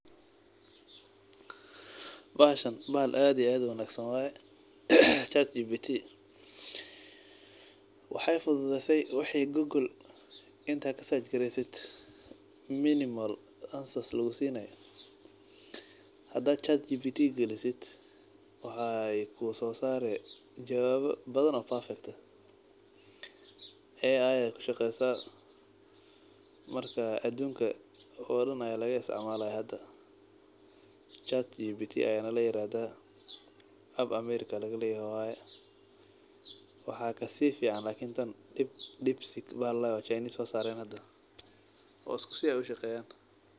Bahashan bahal ad iyo ad uwanagsan waye, Chatgbt, waxay fududeyse wixi google intaa kasachgresid minimal answers lugusinay hadaa Chatgbt galisid way kusosari jawaba badhan oo perfect eh AI ay kushaqesaah , marka adunka oo dhan aa lagaisticmalah , Chatgbt aa layirahdaah , America aa lagaleyahay , waxaa kasifican Depsy bahal ladahay oo Chinese sosaren hada , oo isku si ushaqeyan.